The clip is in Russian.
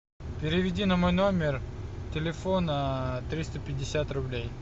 переведи на мой номер телефона триста пятьдесят рублей